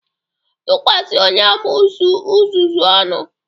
Tukwasi onye amoosu uzuzu ọnu!